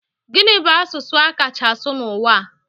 Gini bu asụsụ a kacha asụ n'ụwa?